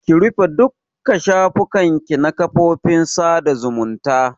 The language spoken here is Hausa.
Ki rufe dukka shafukan ki na kafofin sada zumunta!